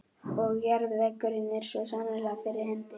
Og jarðvegurinn er svo sannarlega fyrir hendi.